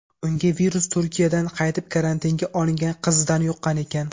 Unga virus Turkiyadan qaytib karantinga olingan qizidan yuqqan ekan.